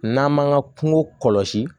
N'an m'an ka kungo kɔlɔsi